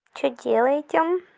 что делаете